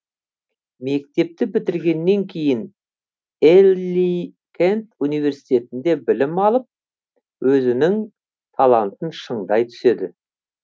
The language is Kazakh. мектепті бітіргеннен кейін элли кент университетінде білім алып өзінің талантын шыңдай түседі